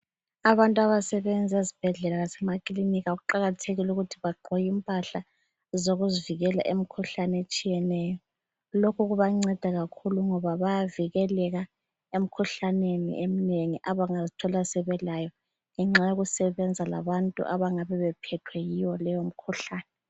Abantu abasebenza ezibhedlela lasemakliniki kuqakathekile ukuthi bagqoke impahla zokuzivikela emikhuhlane etshiyeneyo. Lokhu kubanceda kakhulu ngoba bayavikeleka emikhuhlaneni eminengi abangazithola sebelayo ngenxa yokusebenza labantu abangabe bephethwe yiyo leyomikhuhlane.